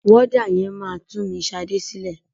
Wọ́dà yẹn máa tún mi Ṣadé sílẹ̀.